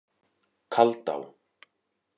Kaldá